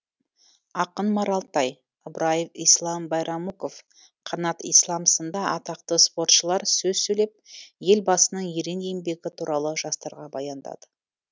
ақын маралтай ыбраев ислам байрамуков қанат ислам сынды атақты спортшылар сөз сөйлеп елбасының ерен еңбегі туралы жастарға баяндады